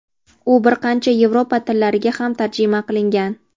u bir qancha yevropa tillariga ham tarjima qilingan.